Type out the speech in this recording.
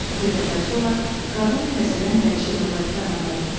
Bir qədər sonra qadın təzədən dəyişib əvvəlki adam oldu.